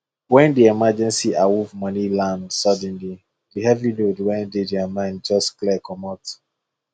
when the emergency awoff money land suddenly the heavy load wey dey their mind just clear comot